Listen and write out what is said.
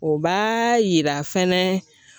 O b'a yira fɛnɛ